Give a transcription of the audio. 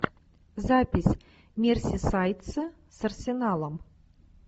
запись мерсисайдцы с арсеналом